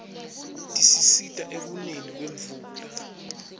tisisita ekuneni kwemvula